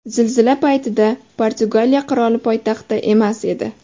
Zilzila paytida Portugaliya qiroli poytaxtda emas edi.